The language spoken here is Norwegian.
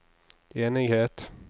enighet